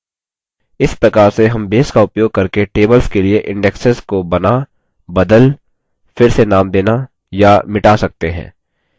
इस प्रकार से हम base का उपयोग करके tables के लिए indexes को बना बदल फिर से नाम देना या मिटा सकते हैं